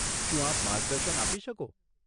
શું આપ માર્ગદર્શન આપી શકો?